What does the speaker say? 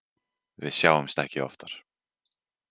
Við sjáumst ekki oftar.